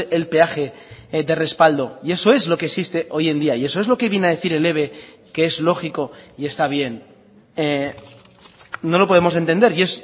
el peaje de respaldo y eso es lo que existe hoy en día y eso es lo que viene a decir el eve que es lógico y está bien no lo podemos entender y